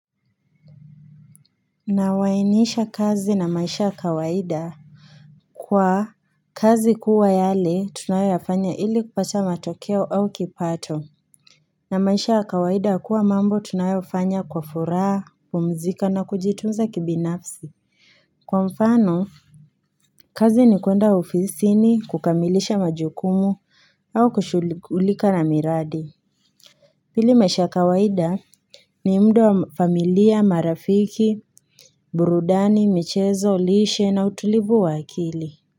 Nawainisha kazi na maisha kawaida Kwa kazi kuwa yale tunayoyafanya ili kupata matokeo au kipato na maisha ya kawaida kuwa mambo tunayoyafanya kwa furaha pumzika na kujitunza kibinafsi Kwa mfano kazi ni kwenda ofisini kukamilisha majukumu au kushughulika na miradi ili maisha kawaida ni mda wa familia marafiki, burudani, michezo, lishe na utulivu wa akili.